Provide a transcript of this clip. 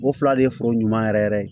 O fila de ye foro ɲuman yɛrɛ yɛrɛ ye